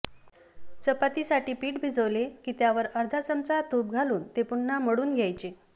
चपातीसाठी पीठ भिजवले की त्यावर अर्धा चमचा तूप घालून ते पुन्हा मळून घ्यायचे